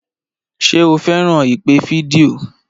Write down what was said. Ṣé o fẹ́ràn ìpè fídíò?